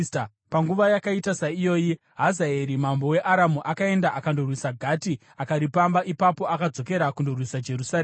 Panguva yakaita saiyoyi Hazaeri mambo weAramu akaenda akandorwisa Gati akaripamba. Ipapo akadzokera kundorwisa Jerusarema.